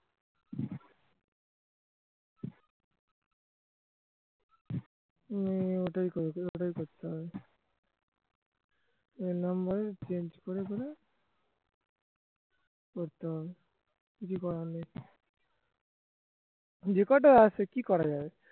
ওটাই করতে হবে এ number এ change করে করে করতে হবে কিছুই করার নেই record এ আছে কি করা যাবে